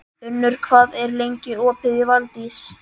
Unnur, hvað er lengi opið í Valdís?